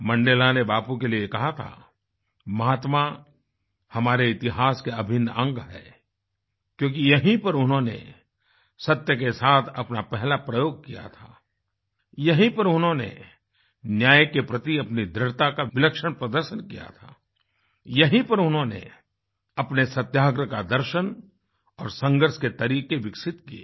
Mandela ने बापू के लिए कहा था महात्मा हमारे इतिहास के अभिन्न अंग है क्योंकि यहीं पर उन्होंने सत्य के साथ अपना पहला प्रयोग किया था यहीं पर उन्होंने न्याय के प्रति अपनी दृढ़ता का विलक्षण प्रदर्शन किया था यहीं पर उन्होंने अपने सत्याग्रह का दर्शन और संघर्ष के तरीके विकसित किये